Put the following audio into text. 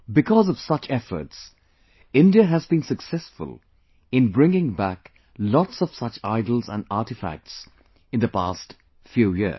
Because of such efforts, India has been successful in bringing back lots of such idols and artifacts in the past few years